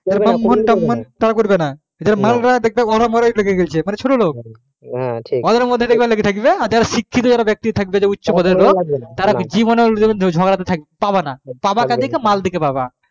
যারা ছোটো লোক যারা শিক্ষিত লোক যারা জীবনে কোনো ঝগড়া তে থাকবে না পাবা কাদিরকে মাল দিকে পাবা